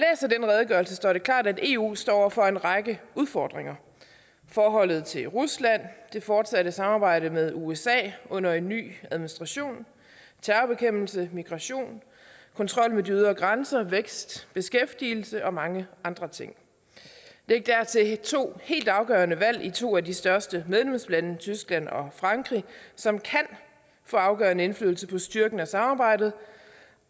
den redegørelse står det klart at eu står over for en række udfordringer forholdet til rusland det fortsatte samarbejde med usa under en ny administration terrorbekæmpelse migration kontrol med de ydre grænser vækst beskæftigelse og mange andre ting læg dertil to helt afgørende valg i to af de største medlemslande tyskland og frankrig som kan få afgørende indflydelse på styrken af samarbejdet